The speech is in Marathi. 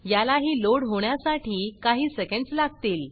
यालाही लोड होण्यासाठी काही सेकेंड्स लागतील